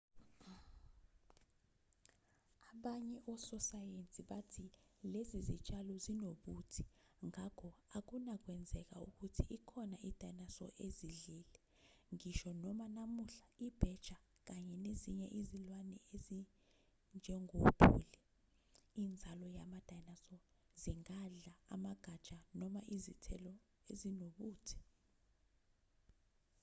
abanye ososayensi bathi lezi zitshalo zinobuthi ngakho akunakwenzeka ukuthi ikhona i-dinosaur ezidlile ngisho noma namuhla ibheja kanye nezinye izilwane ezinjengopholi inzalo yama-dinosaur zingadla amagatsha noma izithelo ezinobuthi